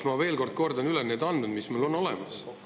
Ma veel kord kordan üle need andmed, mis meil on olemas.